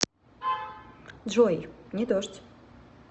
джой не дождь